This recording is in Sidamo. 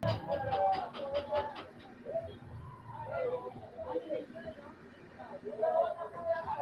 tini maa xawissanno misileeti ? mulese noori maati ? hiissinannite ise ? tini kultannori kuri mayi uduunneeti maa xawisanno mamma horoonsi'nanniho